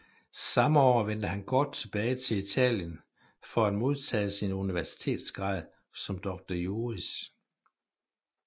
Samme år vendte han kort tilbage til Italien for at modtage sin universitetsgrad som doctor juris